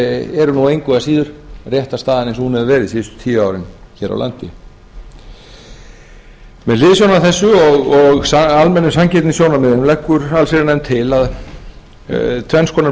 eru nú engu að síður réttarstaðan eins og hún hefur verið síðastliðin tíu árin hér á landi með hliðsjón af þessu og almennum sanngirnissjónarmiðum leggur allsherjarnefnd til tvenns konar breytingar á skaðabótalögunum annars vegar að